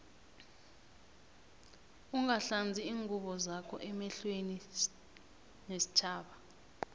ungahlanzi iingubo zakho emehlwene stjhaba